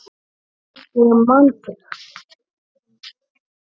Ég man þig.